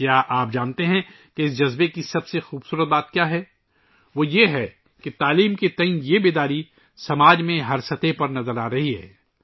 کیا آپ جانتے ہیں کہ اس احساس کی سب سے خوبصورت چیز کیا ہے؟ یعنی تعلیم کے بارے میں یہ بیداری معاشرے میں ہر سطح پر نظر آتی ہے